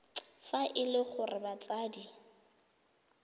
fa e le gore batsadi